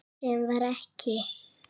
Sem var ekki.